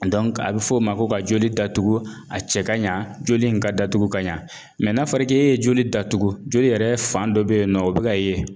a bɛ fɔ o ma ko ka joli datugu a cɛ ka ɲa joli in ka datugu ka ɲa n'a fɔra k'e ye joli datugu joli yɛrɛ fan dɔ bɛ yen nɔ o bɛ ka ye